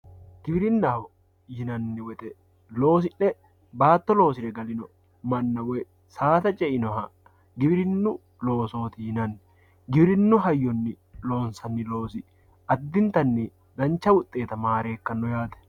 Giwirinaho yinanni woyite baato loosire galino mana woyi saada ce'iho giwirinu loosoti yinanni, giwirinu hayyonni loonsanni loosi adintanni dancha wuxeetta maarekano yaate